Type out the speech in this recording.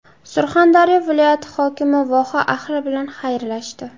Surxondaryo viloyati hokimi voha ahli bilan xayrlashdi.